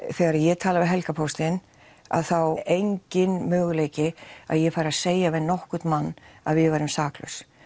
þegar ég tala við Helgarpóstinn þá enginn möguleiki að ég fari að segja við nokkurn mann að við værum saklaus